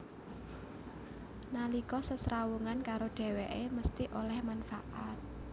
Nalika sesrawungan karo dhèwèké mesthi oleh manfaat